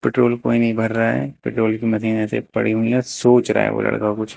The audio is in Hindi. पेट्रोल कोई नहीं भर रहा है पेट्रोल की मशीन ऐसे पड़ी हुई है सोच रहा है वो लड़का कुछ।